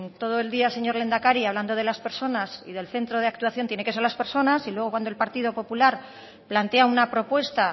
todo el día señor lehendakari hablando de las personas y del centro de actuación tienen que ser las personas y luego cuando el partido popular plantea una propuesta